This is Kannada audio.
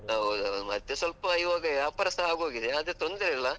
ಹೌದ್ ಹೌದು, ಮತ್ತೆ ಸ್ವಲ್ಪ ಇವಾಗ ವ್ಯಾಪಾರಸ ಆಗೋಗಿದೆ ಆದ್ರೆ ತೊಂದ್ರೆ ಅಲ್ಲ.